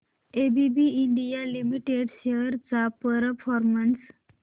ABB India limited shares चा performance